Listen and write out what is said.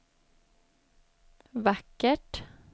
vackert